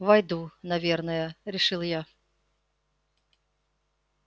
войду наверное решил я